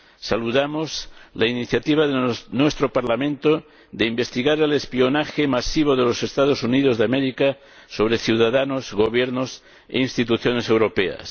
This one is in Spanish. Saludamos la iniciativa de nuestro Parlamento de investigar el espionaje masivo de los Estados Unidos de América sobre ciudadanos, gobiernos e instituciones europeas.